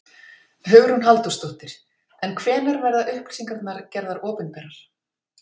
Hugrún Halldórsdóttir: En hvenær verða upplýsingarnar gerðar opinberar?